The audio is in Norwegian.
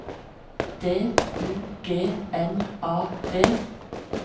D U G N A D